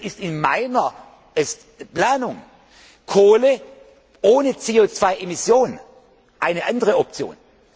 Deswegen ist in meiner Planung Kohle ohne CO 2 Emission eine andere Option.